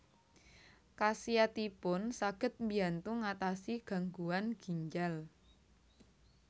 Khasiatipun saged mbiyantu ngatasi gangguan ginjal